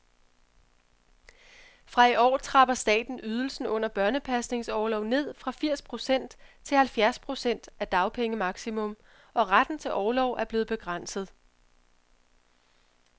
Fra i år trapper staten ydelsen under børnepasningsorlov ned fra firs procent til halvfjerds procent af dagpengemaksimum, og retten til orlov er blevet begrænset.